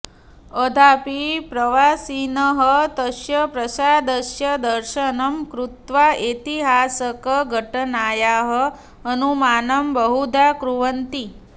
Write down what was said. अद्यापि प्रवासिनः तस्य प्रासादस्य दर्शनं कृत्वा ऐतिहासकघटनायाः अनुमानं बहुधा कुर्वन्ति